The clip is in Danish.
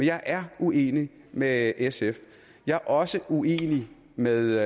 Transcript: jeg er uenig med sf jeg er også uenig med